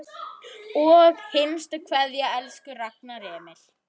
HINSTA KVEÐJA Elsku Ragnar Emil.